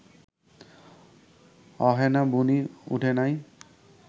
অহনো বুনি উডে নাই